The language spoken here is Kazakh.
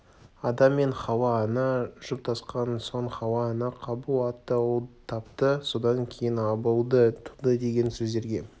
адам-ата мен хауа-ана жұптасқан соң хауа-ана қабыл атты ұл тапты содан кейін абылды туды деген сөздерге